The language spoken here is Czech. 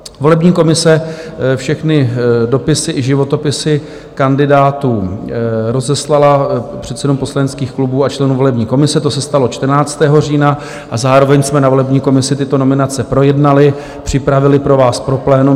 Volební komise všechny dopisy i životopisy kandidátů rozeslala předsedům poslaneckých klubů a členům volební komise, to se stalo 14. října, a zároveň jsme na volební komisi tyto nominace projednali, připravili pro vás, pro plénum.